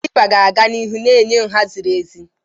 Kalịpa ga-aga n'ihu na-enye nha ziri ezi.